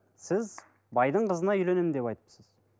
сіз байдың қызына үйленемін деп айтыпсыз